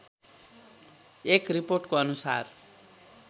एक रिपोर्टको अनुसार